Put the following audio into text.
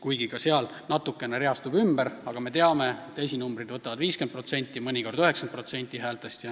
Toimub küll teatud ümberreastumine, aga me teame, et esinumbrid võtavad 50%, mõnikord isegi 90% häältest.